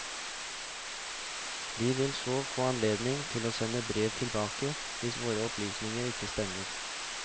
De vil så få anledning til å sende brev tilbake hvis våre opplysninger ikke stemmer.